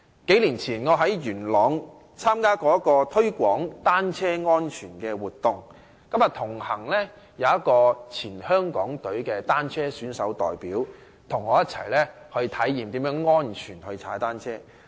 數年前，我在元朗參加了一個推廣單車安全的活動，同行有一位前港隊的單車選手代表，他與我一起體驗如何安全踏單車。